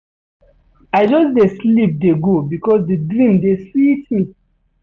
I just dey sleep dey go because di dream dey sweet me.